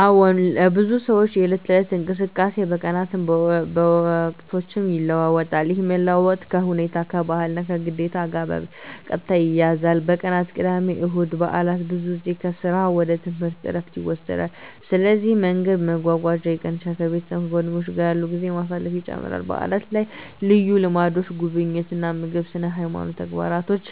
አዎን፣ ለብዙ ሰዎች የዕለት ተዕለት እንቅስቃሴ በቀናትም በወቅቶችም ይለዋዋጣል። ይህ መለዋወጥ ከሁኔታ፣ ከባህል እና ከግዴታ ጋር በቀጥታ ይያያዛል። በቀናት (ቅዳሜ፣ እሁድ፣ በዓላት): ብዙ ሰዎች ከሥራ ወይም ከትምህርት ዕረፍት ይወስዳሉ፣ ስለዚህ መንገድ መጓጓዝ ይቀንሳል ከቤተሰብ እና ከጓደኞች ጋር ጊዜ ማሳለፍ ይጨምራል በዓላት ላይ ልዩ ልምዶች (ጉብኝት፣ ልዩ ምግብ፣ ስነ-ሃይማኖት ተግባሮች)